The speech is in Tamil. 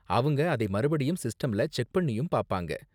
அவங்க அதை மறுபடியும் சிஸ்டம்ல செக் பண்ணியும் பாப்பாங்க.